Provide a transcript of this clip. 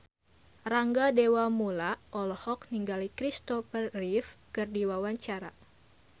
Rangga Dewamoela olohok ningali Christopher Reeve keur diwawancara